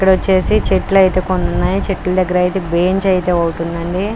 ఇక్కడ వొచ్చేసి చెట్లు అయితే కొన్ని ఉన్నాయి. చెట్టు దగ్గర అయితే బేంచ్ అయితే ఒకటి ఉంది అండి.